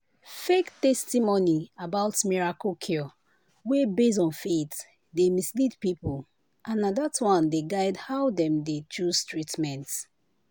fake testimony about miracle cure wey base on faith dey mislead people and na that one dey guide how dem dey choose treatment.